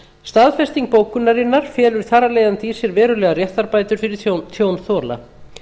staðfesting bókunarinnar felur þar af leiðandi í sér verulegar réttarbætur fyrir tjónþola